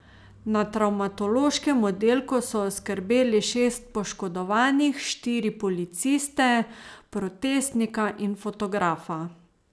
Na travmatološkem oddelku so oskrbeli šest poškodovanih, štiri policiste, protestnika in fotografa.